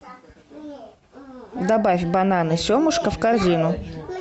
добавь бананы семушка в корзину